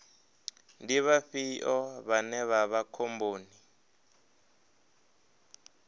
ndi vhafhio vhane vha vha khomboni